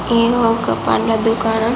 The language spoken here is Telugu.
ఏ ఏదో ఒక పండ్ల దుకాణం.